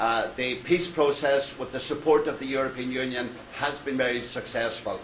The peace process, with the support of the European Union, has been very successful.